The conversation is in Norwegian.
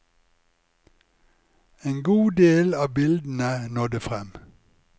En god del av bildene nådde frem.